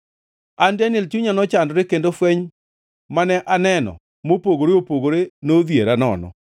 “An Daniel, chunya nochandore, kendo fweny mane aneno mopogore opogore nodhiera nono.